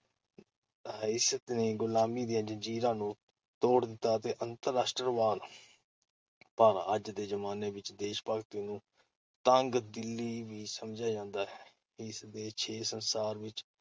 ਰਿਹਾਇਸ਼ ਅਤੇ ਗੁਲਾਮੀ ਦੀਆਂ ਜ਼ੰਜੀਰਾਂ ਨੂੰ ਤੋੜ ਦਿੱਤਾ ਅਤੇ ਅੰਤਰ-ਰਾਸ਼ਟਰਵਾਦ-ਪਰ ਅੱਜ ਦੇ ਜ਼ਮਾਨੇ ਵਿਚ ਦੇਸ਼-ਭਗਤੀ ਨੂੰ ਤੰਗ-ਦਿਲੀ ਵੀ ਸਮਝਿਆ ਜਾਂਦਾ ਹੈ । ਇਸ ਦੇ ਛੇ ਸੰਸਾਰ ਵਿਚ